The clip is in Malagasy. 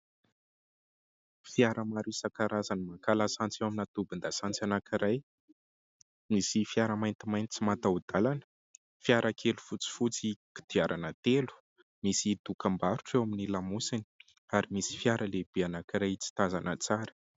Fiara maro isan-karazany maka lasantsy eo anaty tobin-dasantsy anankiray. Misy fiara maintimainty tsy mataho-dalana, fiara kely fotsifotsy kodiarana telo, misy dokam-barotra eo amin'ny lamosiny ary misy fiara lehibe anankiray tsy tazana tsara.